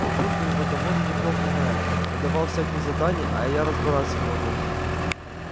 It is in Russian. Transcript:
папулька его довольно неплохо знает надавал всяких заданий а я разбираться не могу